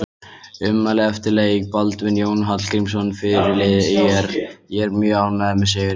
Ummæli eftir leik: Baldvin Jón Hallgrímsson fyrirliði ÍR: Ég er mjög ánægður með sigurinn.